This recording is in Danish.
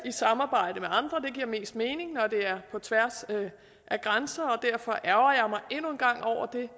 et samarbejde med andre det giver mest mening når det er på tværs af grænser og derfor ærgrer jeg endnu en gang over det